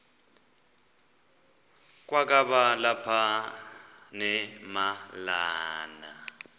kwakaba lapha nemalana